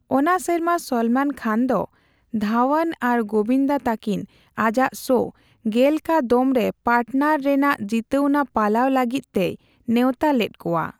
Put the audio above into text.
ᱚᱱᱟ ᱥᱮᱨᱢᱟ ᱥᱚᱞᱢᱚᱱ ᱠᱷᱟᱱ ᱫᱚ ᱫᱷᱟᱣᱟᱱ ᱟᱨ ᱜᱳᱵᱤᱱᱫᱟ ᱛᱟᱹᱠᱤᱱ ᱟᱡᱟᱜ ᱥᱳ ᱜᱮᱞ ᱠᱟ ᱫᱚᱢᱼᱨᱮ 'ᱯᱟᱨᱴᱱᱟᱨ'ᱼᱨᱮᱱᱟᱜ ᱡᱤᱛᱟᱹᱣᱱᱟ ᱯᱟᱞᱟᱣ ᱞᱟᱜᱤᱫ ᱛᱮᱭ ᱱᱮᱣᱛᱟ ᱞᱮᱫ ᱠᱚᱣᱟ ᱾